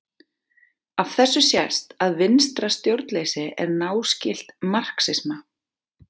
Af þessu sést að vinstra stjórnleysi er náskylt marxisma.